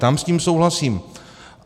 Tam s ním souhlasím.